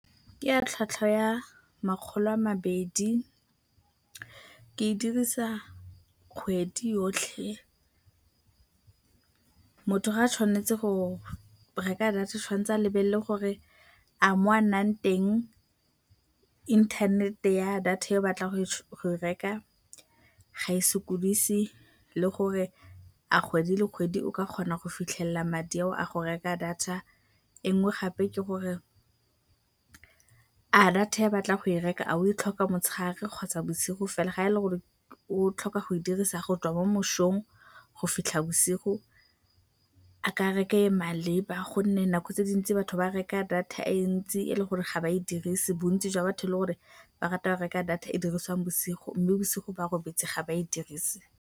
Ke ya tlhwatlhwa ya makgolo a mabedi, ke e dirisa kgwedi yotlhe. Motho fa a tshwanetse go reka data o tshwanetse a lebelele gore a mo a nnang teng inthanete ya data e a batlang go e reka ga e sokodise, le gore a kgwedi le kgwedi o tla kgona go fitlhelela madi ao a go reka data. E nngwe gape ke gore a data e a batlang go e reka a o e tlhoka motshegare kgotsa bosigo fela, fa e le gore o tlhoka go e dirisa go tswa mo mosong go fitlha bosigo a ka reka e e maleba gonne nako tse dintsi batho ba reka data e ntsi e e leng gore ga ba e dirise, bontsi jwa batho le gore ba rata go reka data e e dirisiwang bosigo mme bosigo ba robetse ga ba e dirise.